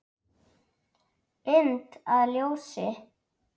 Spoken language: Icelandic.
Mynd að ljósi?